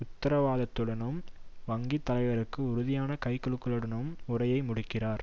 உத்தரவாதத்துடனும் வங்கி தலைவருக்கு உறுதியான கைகுலுக்கலுடனும் உரையை முடிக்கிறார்